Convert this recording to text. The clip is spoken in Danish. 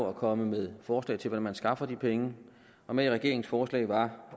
at komme med forslag til hvordan man skaffer de penge og med i regeringens forslag var